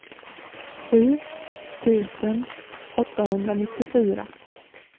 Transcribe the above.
sju tusen åttahundranittiofyra